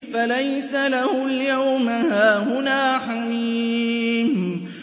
فَلَيْسَ لَهُ الْيَوْمَ هَاهُنَا حَمِيمٌ